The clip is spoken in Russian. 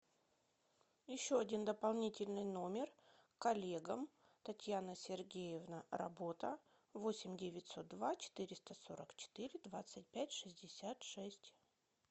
еще один дополнительный номер коллегам татьяна сергеевна работа восемь девятьсот два четыреста сорок четыре двадцать пять шестьдесят шесть